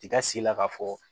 I ka sila k'a fɔ